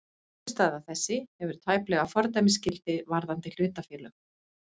Niðurstaða þessi hefur tæplega fordæmisgildi varðandi hlutafélög.